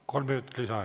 Kolm minutit lisaaega.